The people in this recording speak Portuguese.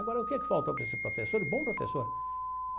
Agora, o que que faltou para esse professor, um bom professor?